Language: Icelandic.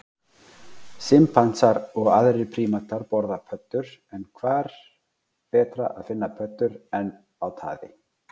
Simpansar og aðrir prímatar borða pöddur en hvar betra að finna pöddur en á taði?